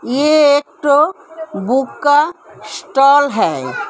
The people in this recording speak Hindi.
ये एक ठो बुक का स्टोल है।